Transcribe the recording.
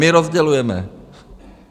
My rozdělujeme.